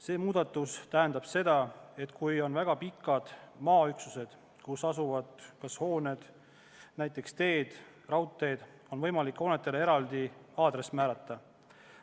See muudatus tähendab seda, et kui tegemist on väga pika hoonestatud maaüksusega, näiteks raudteealune maaüksus, on võimalik hoonetele eraldi aadress määrata.